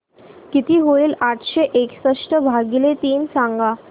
किती होईल आठशे एकसष्ट भागीले तीन सांगा